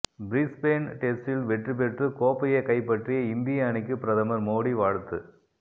Brisbane டெஸ்டில் வெற்றி பெற்று கோப்பையை கைப்பற்றிய இந்திய அணிக்கு பிரதமர் மோடி வாழ்த்து